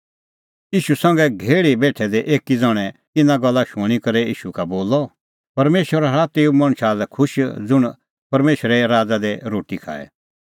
ईशू संघै घेहल़ी बेठै दै एकी ज़ण्हैं इना गल्ला शूणीं करै ईशू का बोलअ परमेशर हआ तेऊ मणछा लै खुश ज़ुंण परमेशरे राज़ा दी रोटी खाए